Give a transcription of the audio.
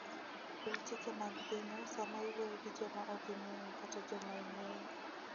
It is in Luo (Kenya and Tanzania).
Luw chike mag pinyu sama iwuoyo gi joma ok ing'eyo kata joma ing'eyo.